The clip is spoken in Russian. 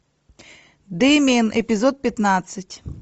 дэмиан эпизод пятнадцать